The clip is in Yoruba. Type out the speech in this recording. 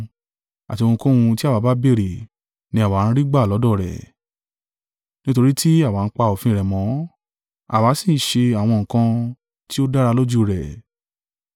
Àti ohunkóhun tí àwa bá béèrè, ni àwa ń rí gbà lọ́dọ̀ rẹ̀, nítorí tí àwa ń pa òfin rẹ̀ mọ́, àwa sì ń ṣe àwọn nǹkan tí ó dára lójú rẹ̀.